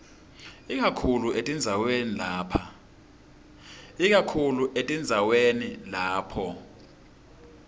ikakhulu etindzaweni lapho